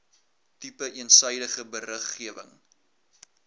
tipe eensydige beriggewing